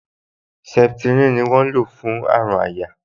Septrin ni wọ́n ń lò fún àrùn àyà